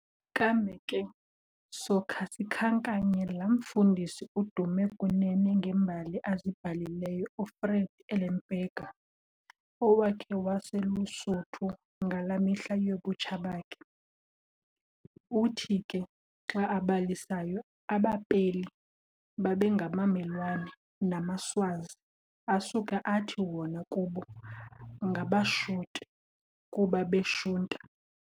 Kambe ke sokha sikhankanye laa mfundisi udume kunene ngeembali azibhalileyo, uFred Ellenberger, owakhe waselusuthu, ngalaa mihla yobutsha bakhe. Uthi ke xa abalisayo, abaPeli babengabamelwane namaSwazi, asuke athi wona kubo ngabaShute, kuba beshunta.